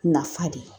Nafa de